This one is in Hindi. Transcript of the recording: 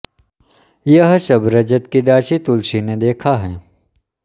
यह सब रजत की दासी तुलसी ने देखा है